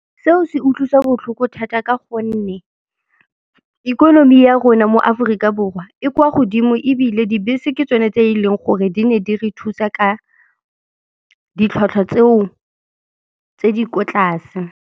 Seo se utlwisa botlhoko thata ka gonne ikonomi ya rona mo Aforika Borwa e kwa godimo ebile dibese ke tsone tse eleng gore di ne di re thusa ka ditlhwatlhwa tseo tse di ko tlase.